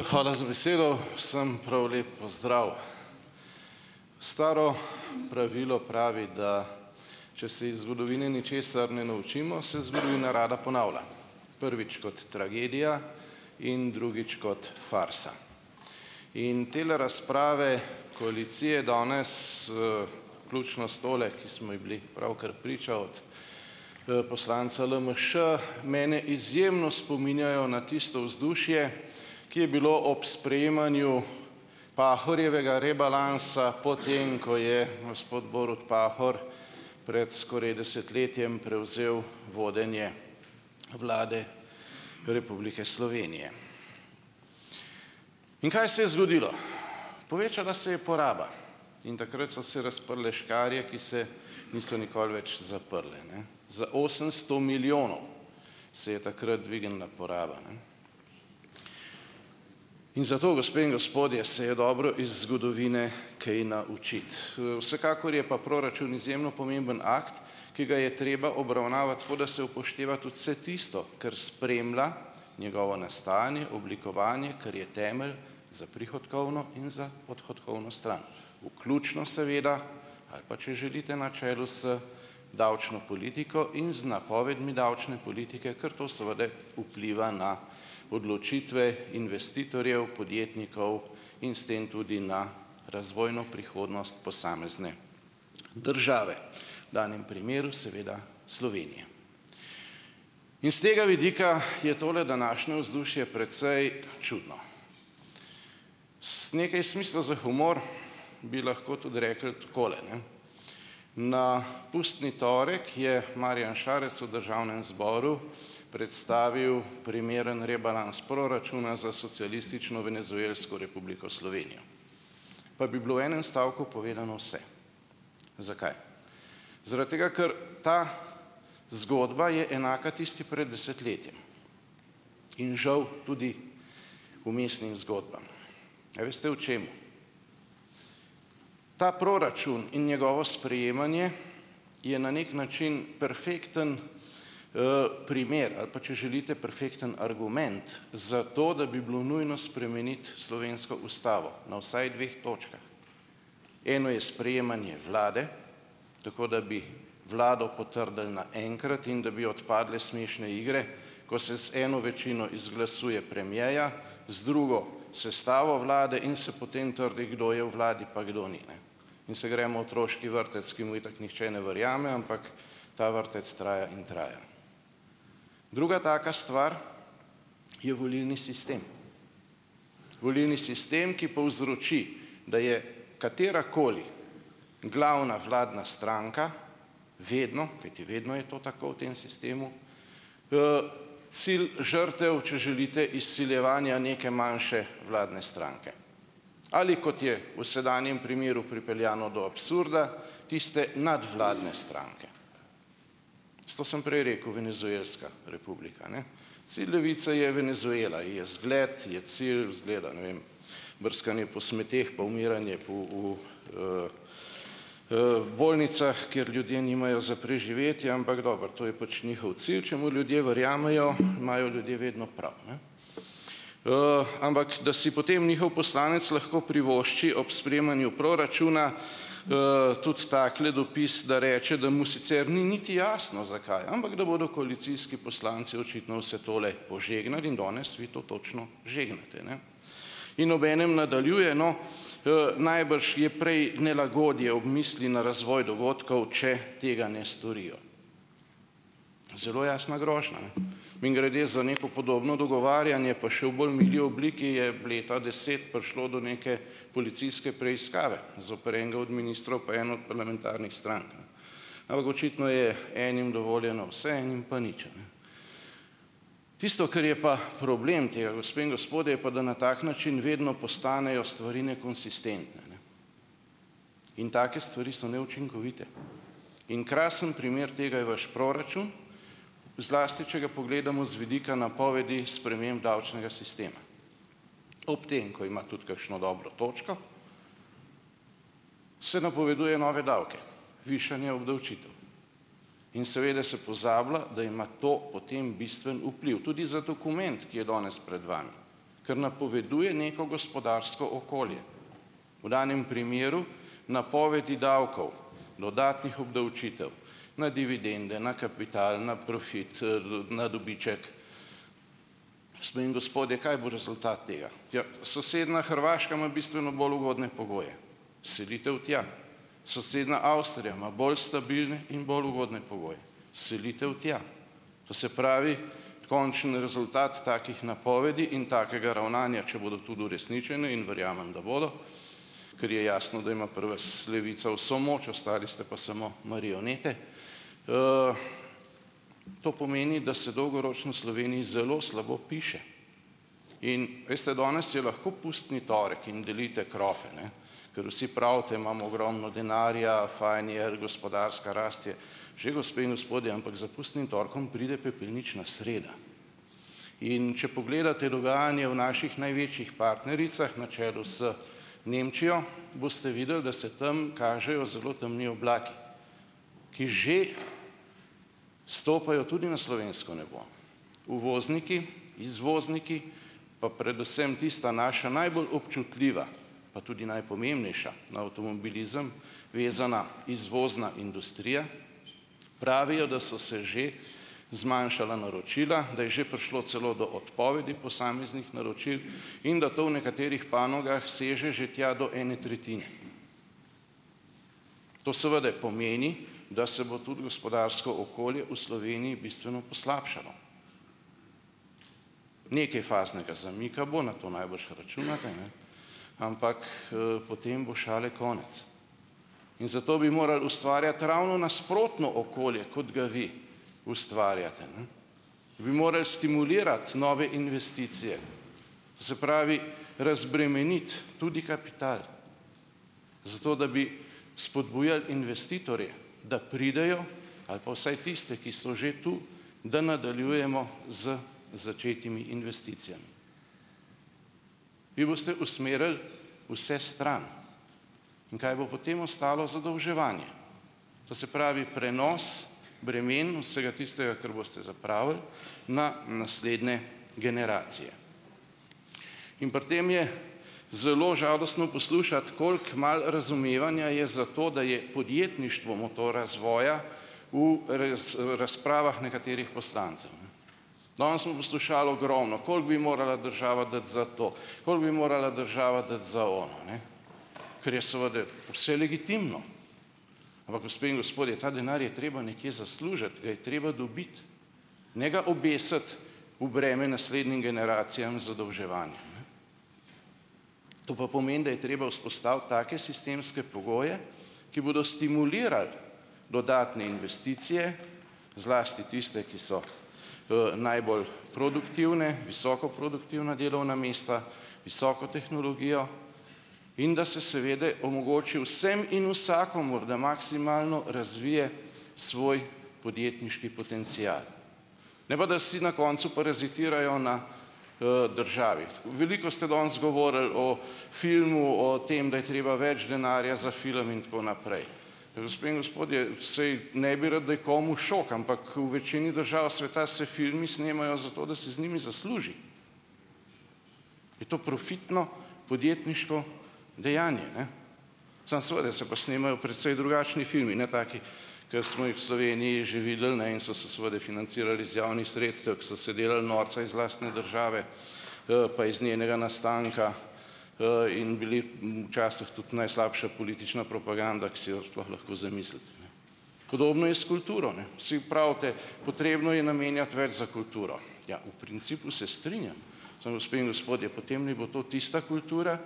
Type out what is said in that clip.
Hvala za besedo, vsem prav lep pozdrav. Staro pravilo pravi, da če se iz zgodovine ničesar ne naučimo, se zgodovina rada ponavlja, prvič kot tragedija in drugič kot farsa. In tele razprave koalicije danes, vključno s tole, ki smo je bili pravkar priča od poslanca LMŠ, mene izjemno spominjajo na tisto vzdušje, ki je bilo ob sprejemanju Pahorjevega rebalansa, potem ko je gospod Borut Pahor pred skoraj desetletjem prevzel vodenje Vlade republike Slovenije. In kaj se je zgodilo? Povečala se je poraba in takrat so se razprle škarje, ki se niso nikoli več zaprle, ne, za osemsto milijonov se je je takrat dvignila poraba, ne, in zato, gospe in gospodje, se je dobro iz zgodovine kaj naučiti, vsekakor je pa proračun izjemno pomemben akt, ki ga je treba obravnavati tako, da se upošteva tudi se tisto, kar spremlja njegovo nastajanje oblikovanje, kar je temelj za prihodkovno in odhodkovno stran, vključno seveda, ali pa če želite, na čelu z davčno politiko in z napovedmi davčne politike, ker to seveda vpliva na odločitve investitorjev, podjetnikov in s tem tudi na razvojno prihodnost posamezne države, danem primeru seveda Slovenije. Is tega vidika je tole današnje vzdušje precej čudno, z nekaj smisla za humor bi lahko tudi rekli takole: na pustni torek je Marjan Šarec v državnem zboru predstavil primeren rebalans proračuna za socialistično venezuelsko Republiko Slovenijo, pa bi bilo v enem stavku povedano vse. Zakaj? Zaradi tega ker ta zgodba je enaka tisti pred desetletjem in žal tudi vmesnim zgodbam. A veste v čem? Ta proračun in njegovo sprejemanje je na nek način perfekten primer ali pa, če želite, perfekten argument za to, da bi bilo nujno spremeniti slovensko ustavo na vsaj dveh točkah. Eno je sprejemanje vlade, tako da bi vlado potrdili naenkrat in da bi odpadlo smešne igre, ko se z eno večino izglasuje premierja, z drugo sestavo vlade in se potem trdi, kdo je v vladi pa kdo ni, ne, in se gremo otroški vrtec, ki mu itak nihče ne verjame, ampak ta vrtec traja in traja, druga taka stvar je volilni sistem, volilni sistem ki povzroči, da je katerakoli glavna vladna stranka vedno, kajti vedno je to tako v tem sistemu, sil žrtev, če želite, izsiljevanja neke manjše vladne stranke, ali kot je v sedanjem primeru pripeljano do absurda, tiste nadvladne stranke, zato sem prej rekel venezuelska republika, ne, saj Levica je Venezuela ji je zgled, ji je cilj zgleda, ne vem, brskanje po smeteh pa umiranje po v bolnicah, ker ljudje nimajo za preživetje, ampak dobro, to je pač njihov cilj, če mu ljudje verjamejo, imajo ljudje vedno prav, ne, ampak da si potem njihov poslanec lahko privošči ob sprejemanju proračuna tudi takle dopis, da reče, da mu sicer ni niti jasno, zakaj, ampak da bodo koalicijski poslanci očitno vse tole požegnali in danes vi to točno žegnate, ne, in obenem nadaljuje, no, najbrž je prej nelagodje ob misli na razvoj dogodkov, če tega ne storijo. Zelo jasna grožnja, ne, mimogrede, za neko podobno dogovarjanje pa še v bolj mili obliki je leta deset prišlo do nekaj policijske preiskave zoper enega od ministrov pa eno od parlamentarnih strank, ne, ampak očitno je enim dovoljeno vse, enim pa nič, a ne, tisto, kar je pa problem tega, gospe in gospodje, je pa, da na tak način vedno postanejo stvari nekonsistentne, in take stvari so neučinkovite in krasen primer tega je vaš proračun, zlasti če ga pogledamo z vidika napovedi sprememb davčnega sistema, ob tem, ko ima tudi kakšno dobro točko, se napoveduje nove davke, višanje obdavčitev in seveda sem pozabila, da ima to potem bistven vpliv tudi za dokument, ki je danes pred vami, kar napoveduje neko gospodarsko okolje, v danem primeru napovedi davkov, dodatnih obdavčitev na dividende, na kapital, na profit, na dobiček, gospe in gospodje, kaj bo rezultat tega? Ja, sosednja Hrvaška ima bistveno bolj ugodne pogoje, selitev tja, sosednja Avstrija ima bolj stabilne in bolj ugodne pogoje, selitev tja, to se pravi končni rezultat takih napovedi in takega ravnanja, če bodo tudi uresničene, in verjamem, da bodo, kar je jasno, da ima pri vas Levica vso moč, ostali ste pa samo marionete, to pomeni, da se dolgoročno Sloveniji zelo slabo piše, in, veste, danes je lahko pustni torek in delite krofe, ne, ker vsi pravite, imamo ogromno denarja, fajn je, gospodarska rast je že, gospe in gospodje, ampak za pustnim torkom pride pepelnična sreda, in če pogledate dogajanje v naših največjih partnericah na čelu z Nemčijo, boste videli, da se tam kažejo zelo temni oblaki, ki že stopajo tudi na slovensko nebo, uvozniki, izvozniki pa predvsem tista naša najbolj občutljiva pa tudi najpomembnejša na avtomobilizem vezana izvozna industrija pravijo, da so se že zmanjšala naročila, da je že prišlo celo do odpovedi posameznih naročil in da to v nekaterih panogah seže že tja do ene tretjine. To seveda pomeni, da se bo tudi gospodarsko okolje v Sloveniji bistveno poslabšalo, nekaj faznega zamika bo, na to najbrž računate, ne, ampak potem bo šale konec, in zato bi morali ustvarjati ravno nasprotno okolje, kot ga vi ustvarjate, ne, bi moral stimulirati nove investicije, se pravi razbremeniti tudi kapital, zato da bi spodbujali investitorje, da pridejo, ali pa vsaj tiste, ki so že tu, da nadaljujemo z začetimi investicijami. Vi boste usmerili vse stran in kaj bo potem ostalo? Zadolževanje, to se pravi prenos vsega tistega, kar boste zapravili, na naslednje generacije in pri tem je zelo žalostno poslušati, koliko malo razumevanja je za to, da je podjetništvo motor razvoja v razpravah nekaterih poslancev, ne, danes smo poslušali ogromno, koliko bi morala država dati za to, koliko bi morala država dati za ono, ne, kar je seveda vse legitimno, ampak, gospe in gospodje, ta denar je treba nekje zaslužiti, ga je treba dobiti ne ga obesiti v breme naslednjim generacijam, zadolževanje, to pa pomeni, da je treba vzpostaviti take sistemske pogoje, ki bodo stimulirali dodatne investicije, zlasti tiste, ki so najbolj produktivne, visoko produktivna delovna mesta, visoko tehnologijo, in da se seveda omogoči vsem in vsakemu, da maksimalno razvije svoj podjetniški potencial, ne pa da si na koncu parazitirajo na državi. Veliko ste danes govorili o filmu, o tem, da je treba več denarja za film in tako naprej, gospe in gospodje, saj ne bi rad, da je komu šok, ampak v večini držav sveta se filmi snemajo zato, da se z njimi zasluži, je to profitno, podjetniško, dejanje, ne, samo seveda se pa snemajo precej drugačni filmi, ne taki, ki smo jih v Sloveniji že videli, ne, in so se seveda financirali z javnih sredstev, ki so se delali norca iz lastne države pa iz njenega nastanka in bili včasih tudi najslabša politična propaganda, ki si jo sploh lahko zamislite, ne, podobno je s kulturo, ne, vsi pravite, potrebno je namenjati več za kulturo, ja, v principu se strinjam, samo, gospe in gospodje, potem naj bo to tista kultura,